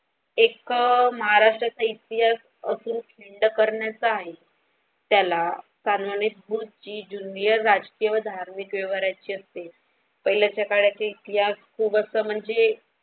एक महाराष्ट्राचा इतिहास असं खिंड करण्याचा आहे त्याला सांगणे तून जी जुन्या राष्ट्र व धार्मिक व्यवहार ची असते पहिल्या सकाळती इतिहास खूप असं म्हणजे.